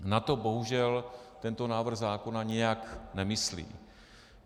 Na to bohužel tento návrh zákona nijak nemyslí.